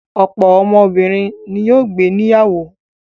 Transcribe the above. Ọ̀pọ̀ obìnrin ni yóò gbé níyàwó.